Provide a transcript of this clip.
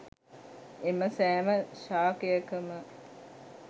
එම සෑම ශාකයකම